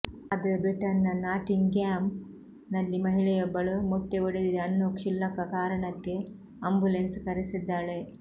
ಆದ್ರೆ ಬ್ರಿಟನ್ ನ ನಾಟಿಂಗ್ಹ್ಯಾಮ್ ನಲ್ಲಿ ಮಹಿಳೆಯೊಬ್ಬಳು ಮೊಟ್ಟೆ ಒಡೆದಿದೆ ಅನ್ನೋ ಕ್ಷುಲ್ಲಕ ಕಾರಣಕ್ಕೆ ಆಂಬ್ಯುಲೆನ್ಸ್ ಕರೆಸಿದ್ದಾಳೆ